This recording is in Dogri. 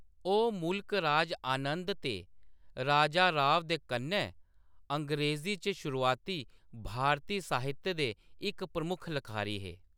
ओह्‌‌ मुल्क राज आनंद ते राजा राव दे कन्नै अंग्रेज़ी च शुरुआती भारती साहित्य दे इक प्रमुख लखारी हे।